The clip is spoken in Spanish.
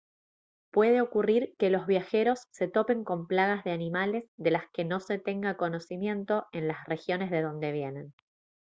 puede ocurrir que los viajeros se topen con plagas de animales de las que no se tenga conocimiento en las regiones de dónde vienen